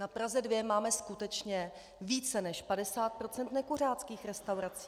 Na Praze 2 máme skutečně více než 50 % nekuřáckých restaurací.